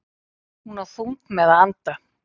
Hún á þungt með að anda.